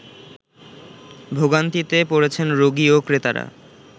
ভোগান্তিতে পড়েছেন রোগী ও ক্রেতারা